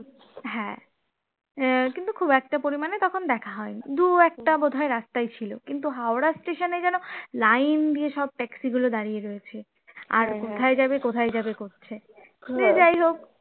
হ্যাঁ আহ কিন্তু খুব একটা পরিমাণে তখন দেখা হয়নি, দু একটা বোধ হয় রাস্তায় ছিল কিন্তু হাওড়া station এ যেন line দিয়ে সব taxi গুলো দাঁড়িয়ে রয়েছে আর কোথায় যাবে কোথায় করছে, সে যাই হোক